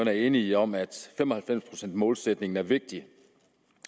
er enige om at fem og halvfems procent målsætningen er vigtig